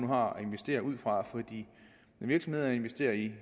har at investere ud fra når virksomheder investerer i